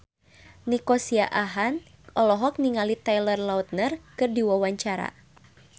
Nico Siahaan olohok ningali Taylor Lautner keur diwawancara